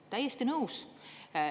Täiesti nõus.